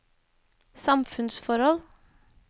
samfunnsforhold